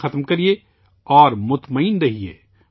کام ختم کیجئے اور بے فکر رہیئے